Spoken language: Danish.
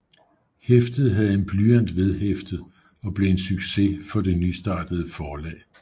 Hæftet havde en blyant vedhæftet og blev en succes for det nystartede forlag